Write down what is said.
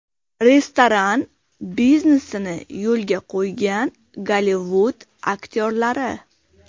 Restoran biznesini yo‘lga qo‘ygan Gollivud aktyorlari .